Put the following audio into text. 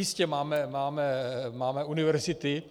Jistě, máme univerzity,